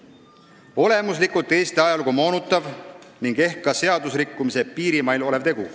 See oli olemuslikult Eesti ajalugu moonutav ning ehk ka seadusrikkumise piirimail olev tegu.